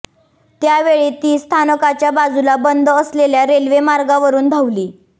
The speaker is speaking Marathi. त्यावेळी ती स्थानकाच्या बाजूला बंद असलेल्या रेल्वे मार्गावरून धावली